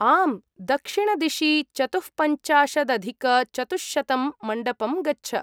आम्, दक्षिणदिशि चतुःपञ्चाशदधिकचतुश्शतं मण्डपं गच्छ।